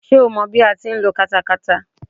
Ṣé o mọ bí a ti ń lo katakata.